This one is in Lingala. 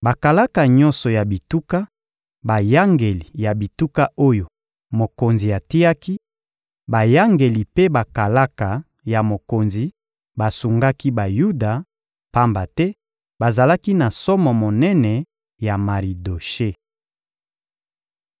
Bakalaka nyonso ya bituka, bayangeli ya bituka oyo mokonzi atiaki, bayangeli mpe bakalaka ya mokonzi basungaki Bayuda, pamba te bazalaki na somo monene ya Maridoshe.